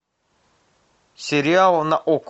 сериалы на окко